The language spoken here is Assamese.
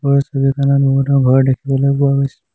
ওপৰৰ ছবিখনত বহুতো ঘৰ দেখিবলৈ পোৱা গৈছে।